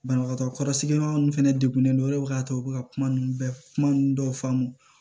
Banabagatɔ kɔrɔsigila ninnu fɛnɛ degunen don o de b'a to u bɛ ka kuma ninnu bɛɛ kuma ninnu dɔw faamu